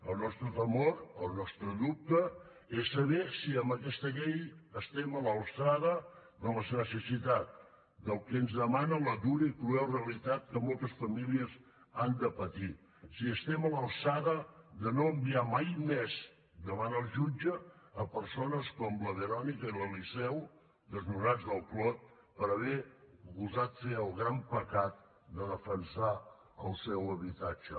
el nostre temor el nostre dubte és saber si amb aquesta llei estem a l’alçada de les necessitats del que ens demana la dura i cruel realitat que moltes famílies han de patir si estem a l’alçada de no enviar mai més davant el jutge persones com la verònica i l’eliseu desnonats del clot per haver gosat fer el gran pecat de defensar el seu habitatge